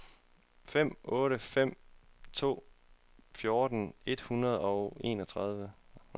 fem otte fem to fjorten et hundrede og enogtredive